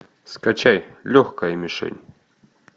скачай легкая мишень